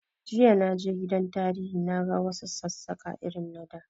Jiya na je gidan tarihi na ga wa su Sassaƙa irin na da